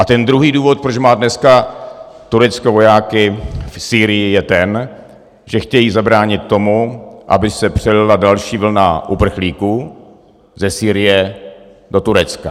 A ten druhý důvod, proč má dneska Turecko vojáky v Sýrii, je ten, že chtějí zabránit tomu, aby se přelila další vlna uprchlíků ze Sýrie do Turecka.